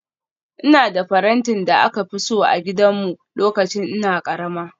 Ina da farantin da aka fi so a gidanmu lokacin ina karama